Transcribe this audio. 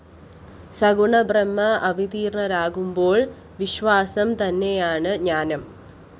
സഗുണബ്രഹ്മം അവതീര്‍ണരാകുമ്പോള്‍ വിശ്വാസം തന്നെയാണു ജ്ഞാനം